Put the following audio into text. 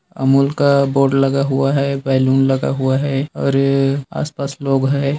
अमूल का बोर्ड लगा हुआ है बलून लगा हुआ है और ये आसपास लोग है।